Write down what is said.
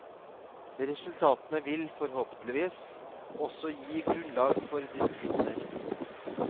Resultatene vil, forhåpentligvis, også gi grunnlag for diskusjoner.